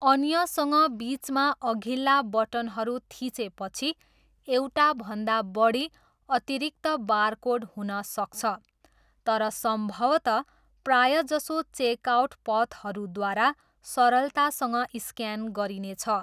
अन्यसँग बिचमा अघिल्ला बटनहरू थिचेपछि एउटाभन्दा बढी अतिरिक्त बारकोड हुन सक्छ, तर सम्भवतः प्रायजसो चेकआउट पथहरूद्वारा सरलतासँग स्क्यान गरिनेछ।